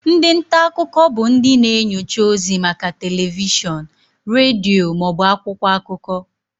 Ndị nta akụkọ bụ ndị na-enyocha ozi maka telivishọn, redio ma ọ bụ akwụkwọ akụkọ.